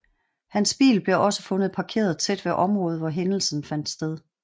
Hans bil blev også fundet parkeret tæt ved området hvor hændelsen fandt sted